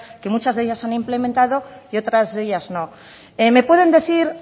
que muchas de ellas se han implementado y otras de ellas no me pueden decir